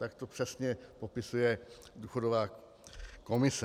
Tak to přesně popisuje důchodová komise.